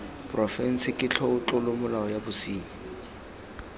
porofense ke tlolomolao ya bosenyi